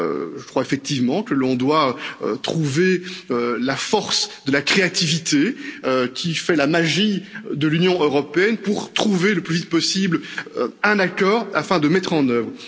Je crois effectivement que l'on doit puiser dans la force de créativité qui fait la magie de l'Union européenne pour trouver le plus vite possible un accord afin de le mettre en œuvre.